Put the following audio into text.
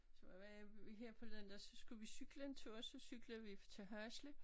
Så var her forleden der skulle vi cykle en tur så cyklede vi til Hasle